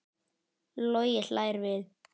Logi hlær við.